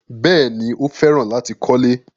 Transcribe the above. Bẹ́ẹ̀ni, Ó fẹ́ràn láti kọ́lẹ́.